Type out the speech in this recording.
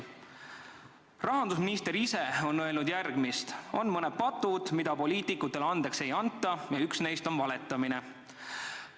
Rahandusminister ise on öelnud järgmist: "On mõned patud, mida poliitikutele andeks ei anta, ja üks neist on valetamine.